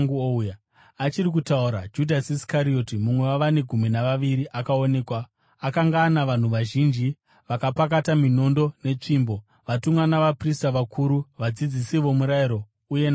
Achiri kutaura, Judhasi Iskarioti, mumwe wavane gumi navaviri, akaonekwa. Akanga ana vanhu vazhinji vakapakata minondo netsvimbo, vatumwa navaprista vakuru, vadzidzisi vomurayiro, uye navakuru.